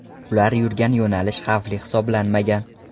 Ular yurgan yo‘nalish xavfli hisoblanmagan.